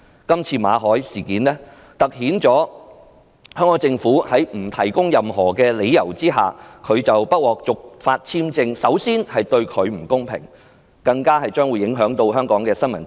今次香港政府在不提供任何理由之下，拒絕馬凱先生續期簽證申請，除凸顯對他的不公平以外，更影響到香港的新聞自由。